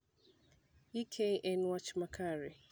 Ek en wach ma kare